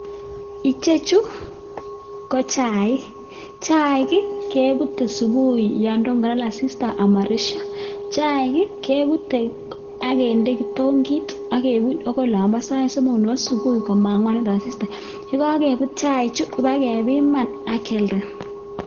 Ichechu ko chaik, chaik kebute subui yon tomo kolal asista amoresio, chaik kebute ak kinde kitongit ak kebut akoi olombo saisomok nebo subui komangwanit asista, yekokebut chaichu kobakebiman ak kialda.